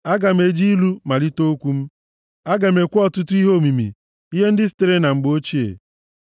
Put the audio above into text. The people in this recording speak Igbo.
Aga m eji ilu malite okwu m, aga m ekwu ọtụtụ ihe omimi, ihe ndị sitere na mgbe ochie;